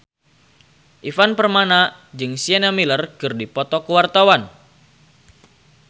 Ivan Permana jeung Sienna Miller keur dipoto ku wartawan